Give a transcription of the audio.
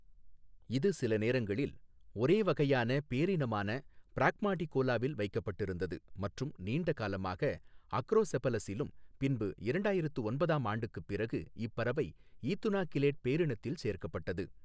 இது சில நேரங்களில் ஒரே வகையான போினமான பிராக்மாடிகோலாவில் வைக்கப்பட்டிருந்தது மற்றும் நீண்ட காலமாக அக்ரோசெபலசிலும் பின்பு இரண்டாயிரத்து ஒன்பதாம் ஆண்டுக்குப் பிறகு இப்பறவை ஈதுனா கிலேட் போினத்தில் சேர்க்கப்பட்டது.